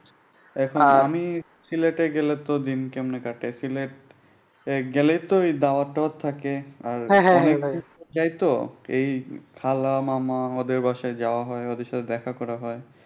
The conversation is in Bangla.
দেখো আমি সিলেটে গেলেতো দিন কেমনে কাটে গেলেইতো দাওয়াত টাওয়াত থাকে আর অনেক দিন পর যাইতো এই খালা, মামা ওদের বাসায় যাওয়া হয় ওদের সাথে দেখা হয়।